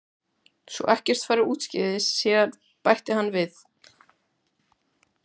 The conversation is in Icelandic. Svo ekkert fari úrskeiðis síðar bætti hann við.